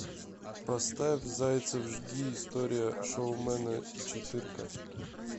поставь зайцев жги история шоумена четырка